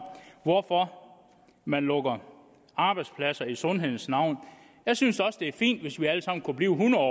hvorfor man lukker arbejdspladser i sundhedens navn jeg synes også at det er fint hvis vi alle sammen kunne blive hundrede